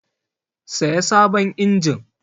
Saya sabon injin!